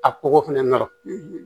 A kɔgɔ fɛnɛ nɔrɔ